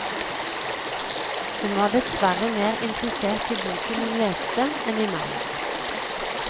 Hun var dessverre mer interessert i boken hun leste enn i meg.